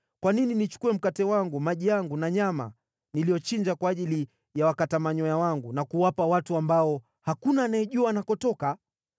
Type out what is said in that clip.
Kwa nini nichukue mkate wangu, maji yangu na nyama niliyochinja kwa ajili ya wakata manyoya wangu, na kuwapa watu ambao hakuna anayejua wanakotoka?”